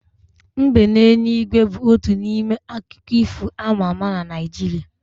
Mbe n'eluigwe bu otu n'ime akụkọ ifo ama ama na Naijiria